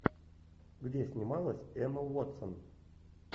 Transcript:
где снималась эмма уотсон